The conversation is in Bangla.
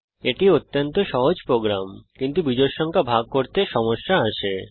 এটি অত্যন্ত সহজ প্রোগ্রাম কিন্তু বিজোড় সংখ্যা ভাগ করতে সমস্যা আসে